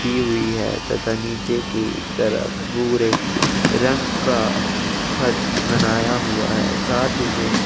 की हुई है तथा नीचे की तरफ भूरे रंग का फर्श बनाया हुआ है साथ ही में --